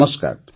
ନମସ୍କାର